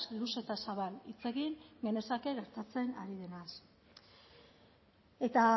luze eta zabal hitz egin genezake gertatzen ari denaz eta